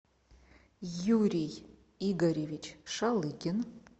юрий игоревич шалыгин